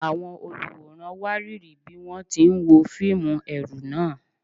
Àwọn olùwòran wárìrì bí wọ́n ti ń wo fíìmù ẹ̀rù náà.